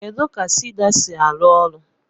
Kedu ka siida si arụ ọrụ?